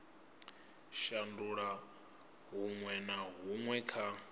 shandula huṅwe na huṅwe kha